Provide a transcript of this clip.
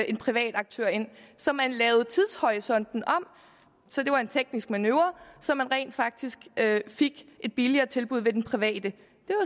en privat aktør ind så man lavede tidshorisonten om så det var en teknisk manøvre så man rent faktisk fik et billigere tilbud ved den private